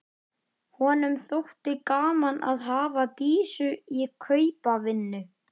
Bara Jón hjarði við lífið í þrjár nætur eftir þetta.